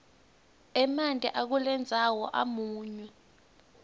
emanti akulendzawo amunyu